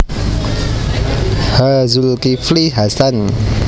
H Zulkifli Hasan